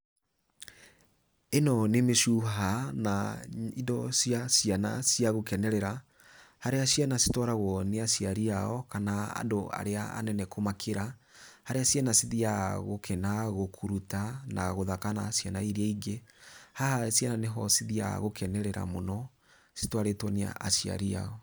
Ĩno nĩ mĩcuha, na indo cia ciana cia gũkenerera, harĩa ciana citwaragwo nĩ aciari ao kana andũ arĩa anene kũmakĩra. Haria ciana cithiyaga gũkena, Bgũkuruta na gũthaka na ciana iria ingĩ. Haha ciana nĩho cithiyaga gũkenerera mũno citwarĩtwo nĩ aciari ao.